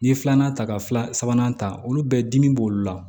N'i ye filanan ta ka fila sabanan ta olu bɛɛ dimi b'olu la